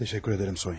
Təşəkkür edərəm Sonya.